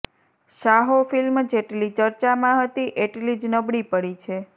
Saaho film જેટલી ચર્ચામાં હતી એટલી જ નબળી પડી છે